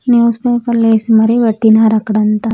News paper లో AC మరి పట్టినారు అక్కడంతా.